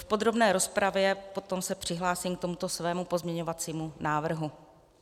V podrobné rozpravě se potom přihlásím k tomuto svému pozměňovacímu návrhu.